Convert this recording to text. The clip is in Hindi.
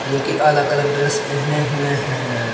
जो कि अलग अलग ड्रेस पहने हुए हैं।